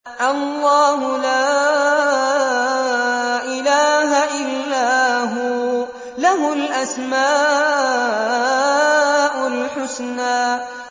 اللَّهُ لَا إِلَٰهَ إِلَّا هُوَ ۖ لَهُ الْأَسْمَاءُ الْحُسْنَىٰ